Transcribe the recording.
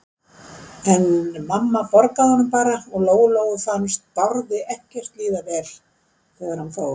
En mamma borgaði honum bara og Lóu-Lóu fannst Bárði ekkert líða vel þegar hann fór.